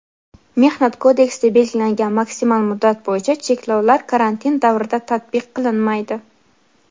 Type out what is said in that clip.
Mehnat kodeksida belgilangan maksimal muddat bo‘yicha cheklovlar karantin davrida tatbiq qilinmaydi.